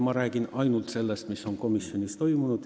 Nii räägin ma ainult sellest, mis on komisjonis toimunud.